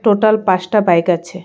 Total পাঁচটা bike আছে.